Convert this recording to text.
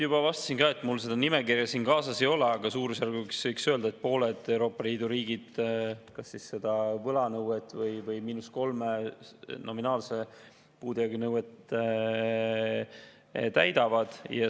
Juba vastasin, et mul seda nimekirja siin kaasas ei ole, aga võiks öelda, et pooled Euroopa Liidu riigid seda võlanõuet või –3 nominaalse puudujäägi nõuet täidavad.